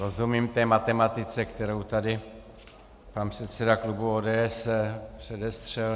Rozumím té matematice, kterou tady pan předseda klubu ODS předestřel.